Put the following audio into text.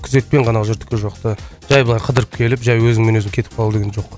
күзетпен ғана жүрдік ол жақта жай былай қыдырып келіп жай өзіңмен өзің кетіп қалу деген жоқ